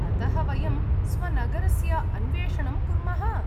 अतः, वयं स्वनगरस्य अन्वेषणं कुर्मः?